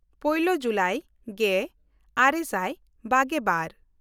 ᱯᱳᱭᱞᱳ/ ᱢᱤᱫ ᱡᱩᱞᱟᱭ ᱜᱮᱼᱟᱨᱮ ᱥᱟᱭ ᱵᱟᱜᱮᱼᱵᱟᱨ